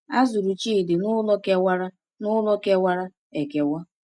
A zụrụ Chidi n’ụlọ kewara n’ụlọ kewara ekewa.